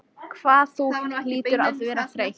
Hvað þú hlýtur að vera þreytt.